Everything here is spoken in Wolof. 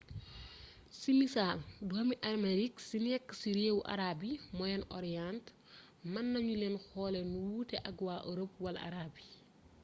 ci misaal doomi amerique ci nekk ci réewu arab yi moyen-orient mën nañu leen xoolee nu wuute ak waa europe wala arabe yi